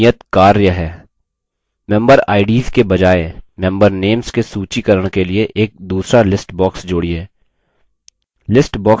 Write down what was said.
member ids के बजाय member names के सूचीकरण के लिए एक दूसरा list box जोड़िए